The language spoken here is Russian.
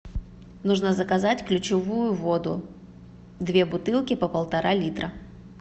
нужно заказать ключевую воду две бутылки по полтора литра